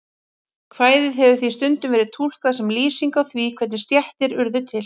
Kvæðið hefur því stundum verið túlkað sem lýsing á því hvernig stéttir urðu til.